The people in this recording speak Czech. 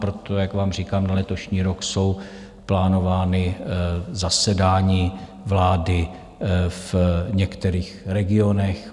Proto, jak vám říkám, na letošní rok jsou plánována zasedání vlády v některých regionech.